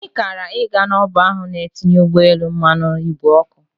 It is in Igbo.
Anyị kara ị ga n'ọba a na-etinye ụgbọelu mmanụ ìgwè oku.